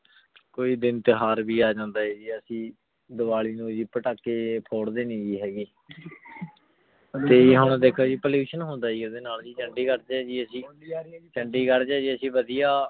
ਕੋਈ ਦਿਨ ਟੁਹਾਰ ਵੀ ਏਜੰਡੇ ਆਯ ਜੀ ਅਸੀਂ ਦੀਵਾਲੀ ਨੂ ਜੀ ਪਾਤਕੀ ਫੋਰ੍ਡੀ ਨਾਈ ਜੀ ਹੇਗੇ ਤੇ ਜੀ ਹੁਣ ਦੇਖੋ ਜੀ pollution ਹੋਂਦਾ ਓਦੇ ਨਾਲ ਜੀ ਚੰਡੀਗੜ੍ਹ ਦੇ ਜੀ ਅਸੀਂ ਚੰਡੀਗੜ੍ਹ ਚ ਅਸੀਂ ਵਾਦਿਯ